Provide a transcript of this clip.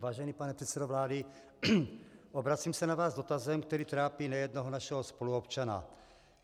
Vážený pane předsedo vlády, obracím se na vás s dotazem, který trápí nejednoho našeho spoluobčana.